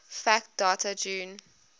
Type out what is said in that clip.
fact date june